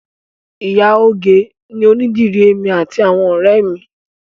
Ìyá ìgè ni onídìrí èmi àti àwọn ọ̀rẹ́ ẹ mi